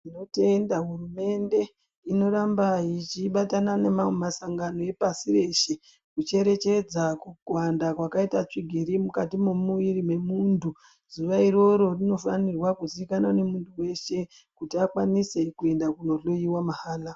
Tinotenda hurumende inoramba ichibatana nemamwe masangano epasi reshe. Kucherechedza kuwanda kwakaita tsvigiri mukati memuviri memuntu. Zuva iroro rinofanirwa kuzikanwa nemuntu veshe kuti akwanise kuenda kunohloiwa mahala.